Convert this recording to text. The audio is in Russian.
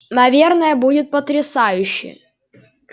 наверное будет потрясающе